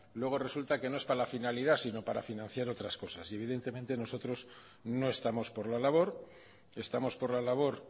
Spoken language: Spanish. luego resulta que no es para la finalidad sino para financiar otras cosas y evidentemente nosotros no estamos por la labor estamos por la labor